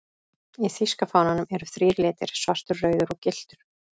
Í þýska fánanum eru þrír litir, svartur, rauður og gylltur.